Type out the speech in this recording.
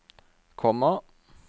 komma